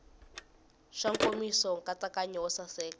xa nkomiso nkatsakanyo wo saseka